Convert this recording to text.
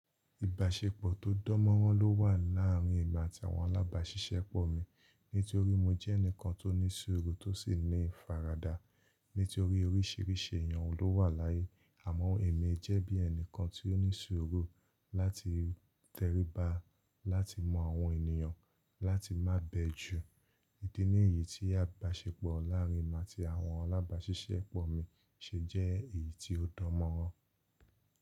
Ìbáṣepọ̀ tó dan mọ́ràn ló wà láàrin èmi àti àwọn alábàáṣiṣẹ́pọ̀ mi. Nítorí mo jẹ́ ẹnìkan tó ní sùúrù tó sì ní ìfaradà. Nítorí oríṣìíríṣìí èèyàn ló wà láyé. Àmọ́ èmi jẹ́ bí ẹni kan tí ó ní sùúrù láti tẹríba láti mọ àwọn ènìyàn láti má bẹ jú. Idi ní èyí tí ìbáṣepọ̀ láàrin èmi àti àwọn alábáṣiṣẹ́pọ̀ mi ṣe jẹ́ èyí tó danmọ́ràn.